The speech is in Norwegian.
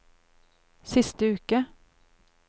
siste uke